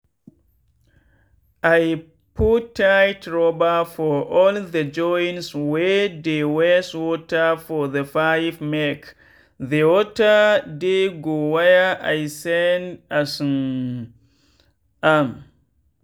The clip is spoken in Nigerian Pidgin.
i put tight rubber for all the joints wey dey waste water for the pipemake the water dey go where i send um am.